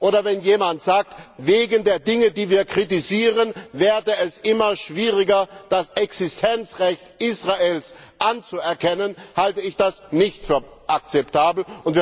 Oder wenn jemand sagt, wegen der Dinge, die wir kritisieren, werde es immer schwieriger, das Existenzrecht Israels anzuerkennen, halte ich das für nicht akzeptabel.